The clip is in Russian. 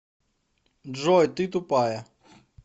джой ты тупая